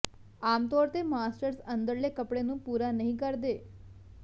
ਆਮ ਤੌਰ ਤੇ ਮਾਸਟਰਜ਼ ਅੰਦਰਲੇ ਕੱਪੜੇ ਨੂੰ ਪੂਰਾ ਨਹੀਂ ਕਰਦੇ